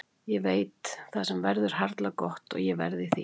Ég veit: Það sem er verður harla gott og ég verð í því.